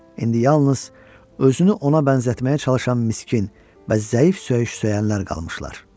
İndi yalnız özünü ona bənzətməyə çalışan miskin, bəz zəif söyüş söyənlər qalmışlar.